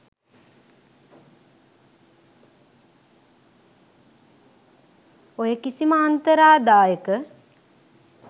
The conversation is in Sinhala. ඔය කිසිම අන්තරාදායක